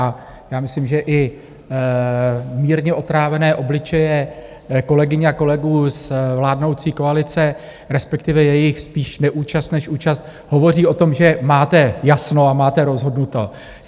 A já myslím, že i mírně otrávené obličeje kolegyň a kolegů z vládnoucí koalice, respektive jejich spíš neúčast než účast, hovoří o tom, že máte jasno a máte rozhodnuto.